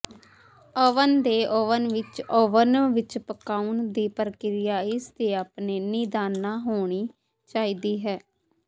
oven ਦੇ oven ਵਿੱਚ oven ਵਿੱਚ ਪਕਾਉਣ ਦੀ ਪ੍ਰਕਿਰਿਆ ਇਸਦੇ ਆਪਣੇ ਨਿਦਾਨਾਂ ਹੋਣੀ ਚਾਹੀਦੀ ਹੈ